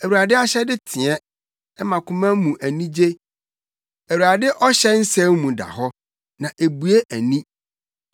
Awurade ahyɛde teɛ; ɛma koma mu anigye. Awurade ɔhyɛ nsɛm mu da hɔ; na ebue ani.